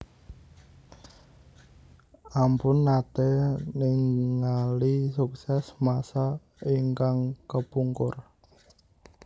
Ampun nate ningali sukses masa ingkang kepungkur